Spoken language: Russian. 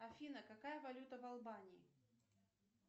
афина какая валюта в албании